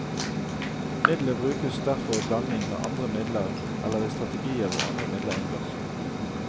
Midlet brukes derfor i blanding med andre midler eller i strategier hvor andre midler inngår.